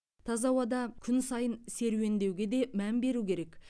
таза ауада күн сайын серуендеуге де мән беру керек